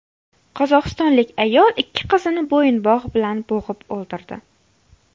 Qozog‘istonlik ayol ikki qizini bo‘yinbog‘ bilan bo‘g‘ib o‘ldirdi.